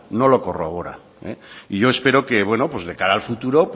no lo corroboran y yo espero que bueno pues de cara al futuro